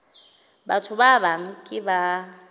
batho ba bang ke ba